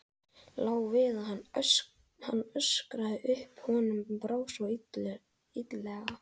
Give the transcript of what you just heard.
Lá við að hann öskraði upp, honum brá svo illilega.